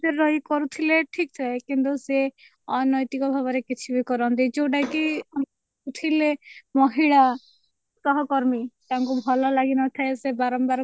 ରେ ରହି କରୁଥିଲେ ଠିକ ଥାଏ କିନ୍ତୁ ସେ ଅନୈତିକ ଭାବରେ କିଛି ବି କରନ୍ତି ଯୋଉଟା କି ଥିଲେ ମହିଳା ସହକର୍ମୀ ତାଙ୍କୁ ଭଲ ଲାଗିନଥାଏ ସେ ବାରମ୍ବାର